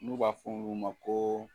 N'u b'a f'olu ma ko